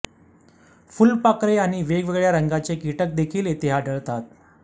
फुलपाखरे आणि वेगवेगळ्या रंगांचे कीटक देखील येथे आढळतात